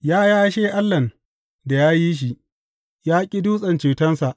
Ya yashe Allahn da ya yi shi, ya ƙi Dutse Cetonsa.